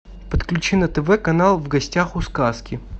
подключи на тв канал в гостях у сказки